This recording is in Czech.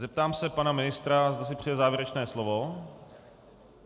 Zeptám se pana ministra, zda si přeje závěrečné slovo.